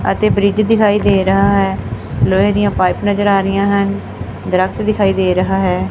ਅਤੇ ਬ੍ਰਿਜ ਦਿਖਾਈ ਦੇ ਰਹਾ ਹੈ ਲੋਹੇ ਦੀਆਂ ਪਾਈਪ ਨਜ਼ਰ ਆ ਰਹੀਆਂ ਹਨ ਦਰਖਤ ਦਿਖਾਈ ਦੇ ਰਹਾ ਹੈ।